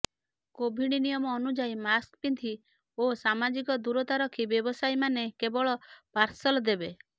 Covid ନିୟମ ଅନୁଯାୟୀ mask ପିନ୍ଧି ଓ ସାମାଜିକ ଦୂରତା ରଖି ବ୍ୟବସାୟୀ ମାନେ କେବେଳ ପାର୍ସଲ ଦେବେ